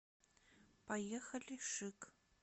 поехали шик